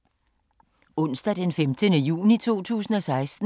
Onsdag d. 15. juni 2016